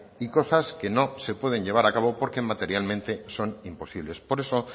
y cosas que no se pueden llevar a cabo porque materialmente son imposibles por eso